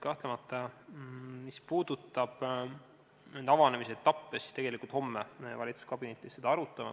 Kahtlemata, mis puudutab avanemise etappe, siis tegelikult homme me valitsuskabinetis seda arutame.